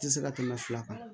Tɛ se ka tɛmɛ fila kan